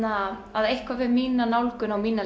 að að eitthvað við mína nálgun á mína